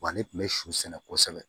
Wa ne tun bɛ sugosɛbɛ